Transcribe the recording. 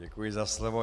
Děkuji za slovo.